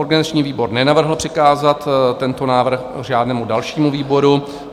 Organizační výbor nenavrhl přikázat tento návrh žádnému dalšímu výboru.